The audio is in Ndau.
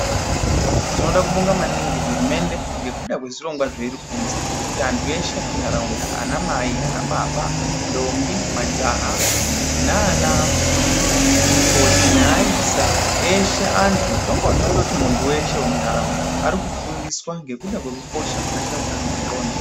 Tinoda kubonga maningi hurumende ngekuda kwezvirongwa zveiri kuunzwa zvekuti antu eshe emunharaunda ana mai ana baba, ndombi, majaha nana mukoti neaisa eshe antu tondoti muntu weshe wemunharaunda ari kufundiswa ngekuda kwekukosha kwakaita utano hwendxondo